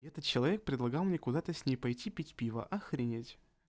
этот человек предлагал мне куда ты с ней пойти пить пиво охренеть